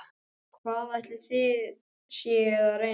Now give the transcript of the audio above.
Og hvað ætlið þið séuð að reyna?